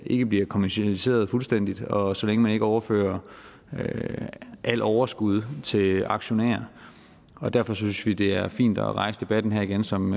ikke bliver kommercialiseret fuldstændigt og så længe man ikke overfører alt overskud til aktionærerne derfor synes vi det er fint at rejse debatten her igen som